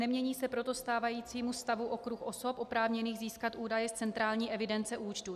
Nemění se proti stávajícímu stavu okruh osob oprávněných získat údaje z centrální evidence účtů.